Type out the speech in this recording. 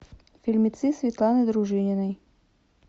фильмецы светланы дружининой